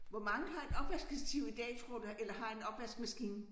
Hvor mange har et opvaskestativ i dag tror du eller har en opvaskemaskine